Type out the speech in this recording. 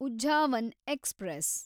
Uzhavan express